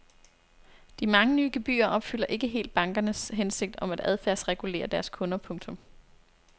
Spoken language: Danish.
De mange nye gebyrer opfylder ikke helt bankernes hensigt om at adfærdsregulere deres kunder. punktum